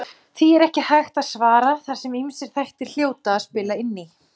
Við verðum að bjarga honum, sagði Jón Ólafur æstur.